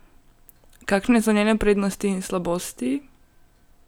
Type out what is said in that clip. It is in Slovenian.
Kakšne so njene prednosti in slabosti?